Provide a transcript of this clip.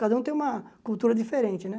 Cada um tem uma cultura diferente, né?